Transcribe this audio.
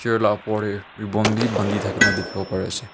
chair lah upor teh ribbon bhi bandhi thake na dikhibo pari ase.